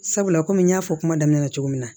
Sabula kɔmi n y'a fɔ kuma daminɛ na cogo min na